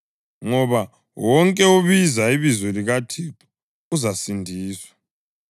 ngoba, “Wonke obiza ibizo likaThixo uzasindiswa.” + 10.13 UJoweli 2.32